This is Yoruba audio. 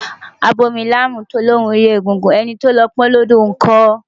Abomilámù tó lóun rí egúngún, ẹni tó lọ pọn ọ́n lódò ńkọ́?